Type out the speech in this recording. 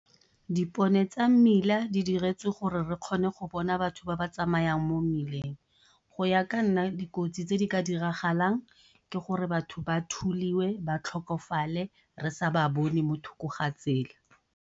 Dipone tsa mmila di diretswe gore re kgone go bona batho ba ba tsamayang mo mmileng. Go ya ka nna dikotsi tse di ka diragalang ke gore batho ba thuliwe ba tlhokofale re sa ba bone mo thoko ga tsela.